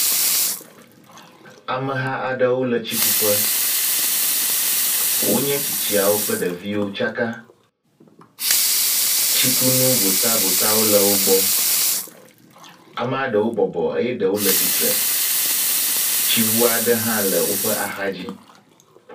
Ameha aɖewo le tsikuƒe. Wonye tsitsiawo kple ɖeviwo tsaka. Tsikunu votavotawo le wo gbɔ. Amea ɖewo bɔbɔ eye ɖewo le tsitre. Tsiŋu aɖe hã le woƒe axa dzi.